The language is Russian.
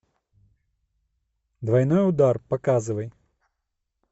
двойной удар показывай